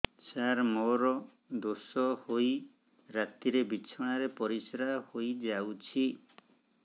ସାର ମୋର ଦୋଷ ହୋଇ ରାତିରେ ବିଛଣାରେ ପରିସ୍ରା ହୋଇ ଯାଉଛି